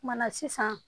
Kumana sisan